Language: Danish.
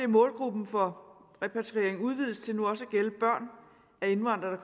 målgruppen for repatriering udvides til nu også at gælde børn af indvandrere